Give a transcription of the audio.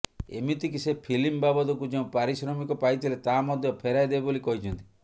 ଏମିତିକି ସେ ଫିଲ୍ମ ବାବଦକୁ ଯେଉଁ ପାରିଶ୍ରମିକ ପାଇଥିଲେ ତାହା ମଧ୍ୟ ଫେରାଇଦେବେ ବୋଲି କହିଛନ୍ତି